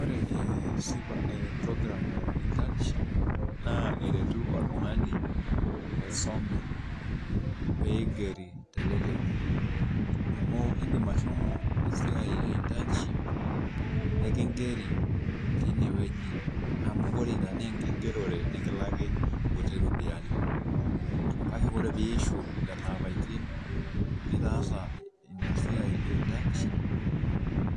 Ore sifa program ee intaniship naa eretu oltungani oisume pee eigeri teleleki amu indim ashomo esiai eentaniship nikingeri tineweji amu ore ina naa enkigerore nikilaaki nkuti ropiyiani ,kake ore pee iishi lelo apaitin linaasa intaniship